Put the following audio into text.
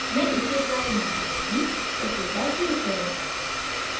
मैं इसे trial name दूंगी ok पर click करें